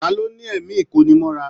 Ta ló ní ẹ̀mí ikonimọ́ra?